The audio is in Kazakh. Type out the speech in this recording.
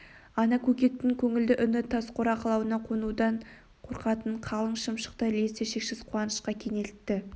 ата көкектің көңілді үні тас қора қалауына қонудан қорқатын қалың шымшықты лезде шексіз қуанышқа кенелтті